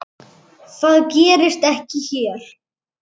Það gerist ekki hér.